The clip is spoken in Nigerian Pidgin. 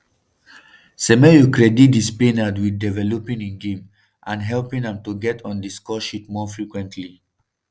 semenyo credit di spaniard wit developing im game and helping am to get on di scoresheet more frequently.